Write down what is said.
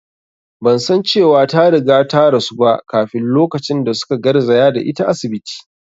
Ban san cewa ta riga ta rasu ba kafin lokacin da su ka garzaya da ita asibiti